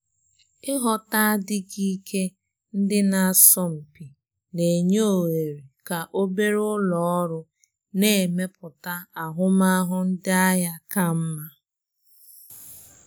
Ịghọta adighị ike ndị na-asọ mpi na-enye òhèrè ka obere ụlọ ọrụ na-emepụta ahụmahụ ndị ahịa ka mma.